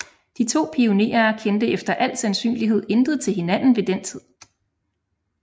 De to pionerer kendte efter al sandsynlighed intet til hinanden ved den tid